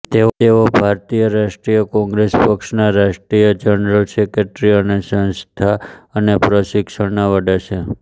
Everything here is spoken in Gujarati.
તેઓ ભારતીય રાષ્ટ્રીય કોંગ્રેસ પક્ષના રાષ્ટ્રીય જનરલ સેક્રેટરી અને સંસ્થા અને પ્રશિક્ષણના વડા છે